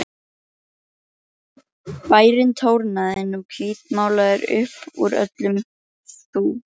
Bærinn trónaði nú hvítmálaður upp úr öllum þúfum.